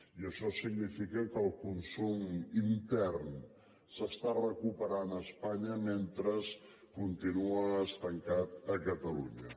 i això significa que el consum intern s’està recuperant a espanya mentre continua estancat a catalunya